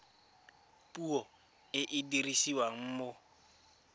puo e e dirisiwang mo